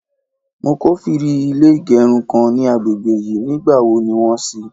mo kofiri ilé igerun kan ni àgbègbè yìí, ní gba wo ni won sì?